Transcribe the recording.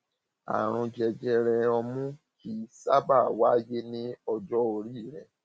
àrùn jẹjẹrẹ ọmú kì kì í sábà wáyé ní ọjọ orí rẹ